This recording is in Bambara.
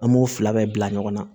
An b'o fila bɛɛ bila ɲɔgɔn na